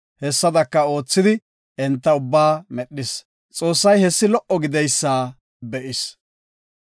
Hessada oothidi enta ubbaa medhis. Xoossay hessi lo77o gididaysa be7is.